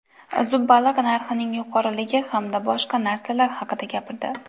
Zub baliq narxining yuqoriligi hamda boshqa narsalar haqida gapirdi.